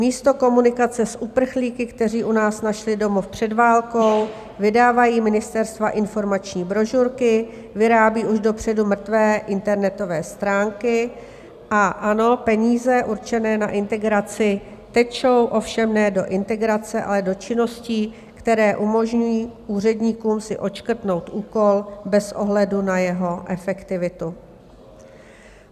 Místo komunikace s uprchlíky, kteří u nás našli domov před válkou, vydávají ministerstva informační brožurky, vyrábí už dopředu mrtvé internetové stránky, a ano, peníze určené na integraci tečou, ovšem ne do integrace, ale do činností, které umožňují úředníkům si odškrtnout úkol bez ohledu na jeho efektivitu.